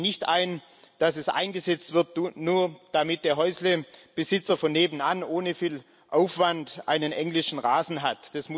Ich sehe nicht ein, dass es eingesetzt wird, nur damit der Häuslebesitzer von nebenan ohne viel Aufwand einen englischen Rasen hat.